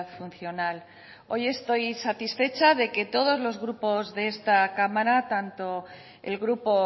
funcional hoy estoy satisfecha de que todos los grupos de esta cámara tanto el grupo